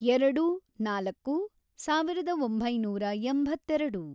ಎರೆೆಡು, ನಾಲ್ಕು, ಸಾವಿರದ ಒಂಬೈನೂರ ಎಂಬತ್ತೆರೆಡು